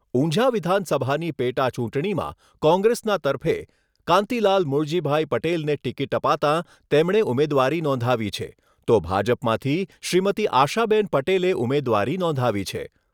ઉંઝા વિધાનસભાની પેટાચૂંટણીમાં કોંગ્રેસના તરફે કાંતિલાલ મુળજીભાઈ પટેલને ટિકીટ અપાતાં તેમણે ઉમેદવારી નોંધાવી છે તો ભાજપમાંથી શ્રીમતી આશાબેન પટેલે ઉમેદવારી નોંધાવી છે.